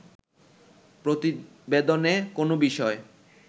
প্রতিবেদনে কোন বিষয়